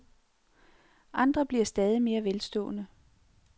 Andre bliver stadig mere velstående.